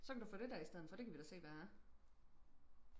så kan du få det der i stedet for det kan vi da se hvad er